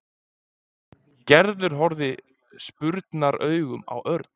Gerður horfði spurnaraugum á Örn.